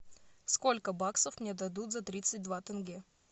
сколько баксов мне дадут за тридцать два тенге